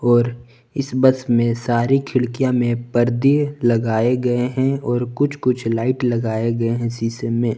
और इस बस में सारी खिड़कियां में पर्दे लगाए गए हैं और कुछ कुछ लाइट लगाए गए हैं शीशे में।